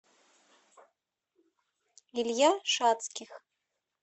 илья шатских